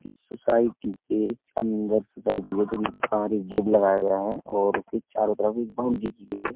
इस सोसाइटी के चन्दर सोसाइटी है। जोकि बाहर एक गेट लगाया गया है और इसके चारों तरफ एक बॉउंड्री की गई है।